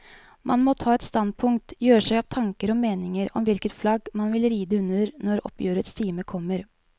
Man må ta et standpunkt, gjøre seg opp tanker og meninger om hvilket flagg man vil ride under når oppgjørets time kommer.